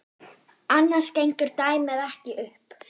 Annars gengur dæmið ekki upp.